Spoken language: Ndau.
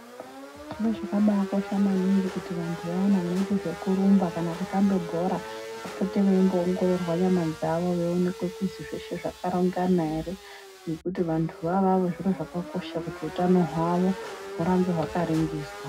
Zviro zvakakosha maningi kuti vantu vayana vanoita zvekurumba kana kutamba bhora vapote veimbo ongororwa nyama dzawo veiningirwa kuti zveshe zvakarongana ere ngekuti vanhu ava zviro zvakakosha kuti hutano hwavo hugare hwakaningiswa.